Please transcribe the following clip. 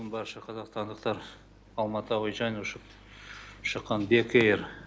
бүгін барша қазақстандықтар алматы әуежайынан ұшып шыққан бек эйр